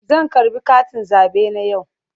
Zan karɓi katin zabe na a yau.